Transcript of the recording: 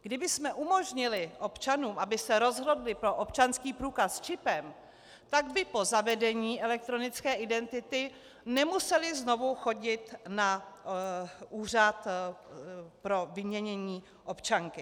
Kdybychom umožnili občanům, aby se rozhodli pro občanský průkaz s čipem, tak by po zavedení elektronické identity nemuseli znovu chodit na úřad pro vyměnění občanky.